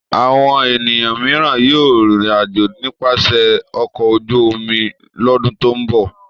Àwọn ènìyàn mìíràn yóò rìnrìn-àjò nípasẹ̀ ọkọ̀ ojú-omi lọ́dún tó ń bọ̀.